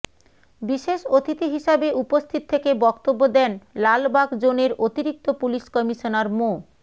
বিশেষ অতিথি হিসাবে উপস্থিত থেকে বক্তব্য দেন লালবাগ জোনের অতিরিক্ত পুলিশ কমিশনার মো